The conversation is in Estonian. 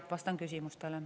Ja vastan küsimustele.